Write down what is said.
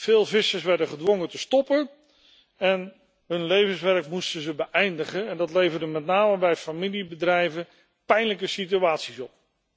Veel vissers werden gedwongen te stoppen en hun levenswerk te beëindigen en dat leverde met name bij familiebedrijven pijnlijke situaties op.